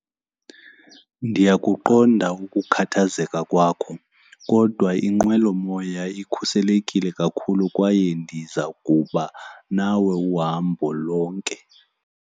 Ndiyakuqonda ukukhathazeka kwakho kodwa inqwelomoya ikhuselekile kakhulu kwaye ndiza kuba nawe uhambo lonke.